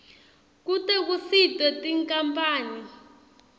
kute kusitwe tinkampani